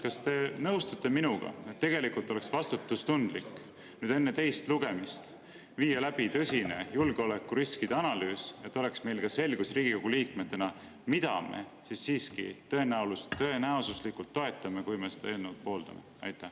Kas te nõustute minuga, et tegelikult oleks vastutustundlik enne teist lugemist viia läbi tõsine julgeolekuriskide analüüs, et meil Riigikogu liikmetena oleks selgus, mida me siiski tõenäosuslikult toetame, kui me seda eelnõu pooldame?